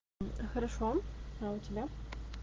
хорошо а у тебя